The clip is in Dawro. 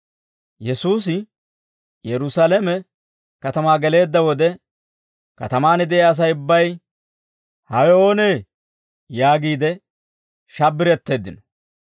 Yesuusi Yerusaalame katamaa geleedda wode, katamaan de'iyaa Asay ubbay, «Hawe oonee?» yaagiide shabbiretteeddino.